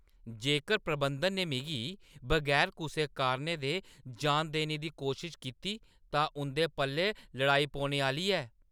जेकर प्रबंधन ने मिगी बगैर कुसै कारणै दे जान देने दी कोशश कीती तां उंʼदे पल्लै लड़ाई पौने आह्‌ली ऐ।